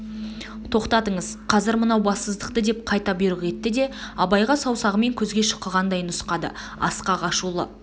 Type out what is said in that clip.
тоқтатыңыз қазір мынау бассыздықты деп қайта бұйрық етті де абайға саусағымен көзге шұқығандай нұсқады асқақ ашулы